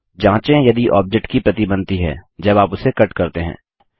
जाँचें यदि ऑब्जेक्ट की प्रति बनती है जब आप उसे कट करते हैं